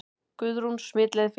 Guðrún: Smitleið fyrir fólk?